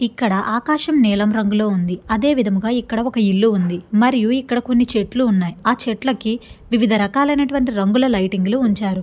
ఇక్కడ ఆకాశం నీలం రంగులో ఉంది. అదేవిధంగా ఇక్కడ ఒక ఇల్లు ఉంది. మరియు ఇక్కడ కొన్ని చెట్లు ఉన్నాయి. ఆ చెట్లకి వివిధ రకాలైనటువంటి రంగుల లైటింగ్ లో ఉంచారు.